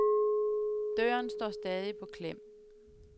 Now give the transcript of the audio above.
Døren står stadig på klem.